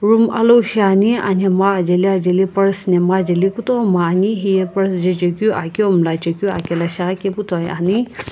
room aluo shiane anamgha ajeli ajeli purse nemgha ajeli kutomo anehiye purse jajekuakeu miila chekeu akela shaghi kaeputo ame.